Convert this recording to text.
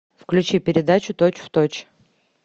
включи передачу точь в точь